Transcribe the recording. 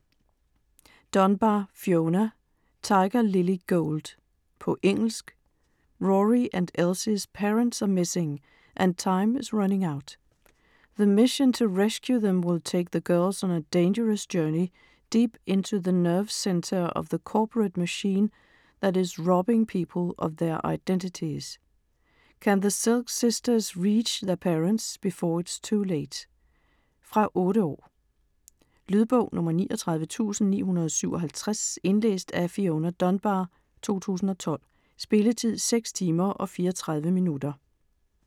Dunbar, Fiona: Tiger-lily gold På engelsk. Rorie and Elsie's parents are missing, and time is running out. The mission to rescue them will take the girls on a dangerous journey, deep into the nerve centre of the corporate machine that is robbing people of their identities. Can the Silk sisters reach their parents before it's too late? Fra 8 år. Lydbog 39957 Indlæst af Fiona Dunbar, 2012. Spilletid: 6 timer, 34 minutter.